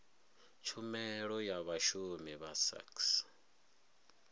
tshumelo ya vhashumi vha sax